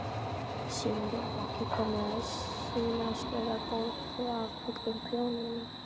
Símon: Þú ert ekkert komin með sinaskeiðabólgu af öllu prjóninu?